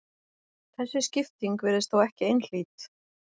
Þessi skipting virðist þó ekki einhlít.